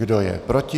Kdo je proti?